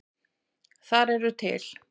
Þar eru til